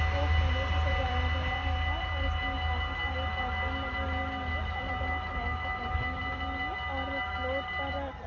ओ फूलों से सजाए गया हैगा और उसमे काफी सारे कर्टेन लगे हुए हैंगेअलग अलग कलर के कन्टेन लगे हुए हैं और फ्लोर पर--